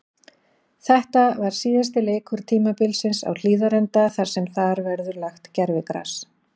Þetta var síðasti leikur tímabilsins á Hlíðarenda þar sem þar verður lagt gervigras.